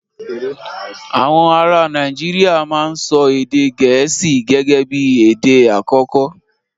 Àwọn ará Nàìjíríà máa ń sọ èdè gẹ̀ẹ́sì gẹ́gẹ́bí èdè àkọ́kọ́